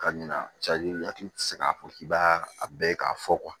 Ka ɲina i hakili tɛ se k'a fɔ k'i b'a a bɛɛ k'a fɔ